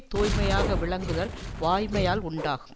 தூய்மையாக விளங்குதல் வாய்மையால் உண்டாகும்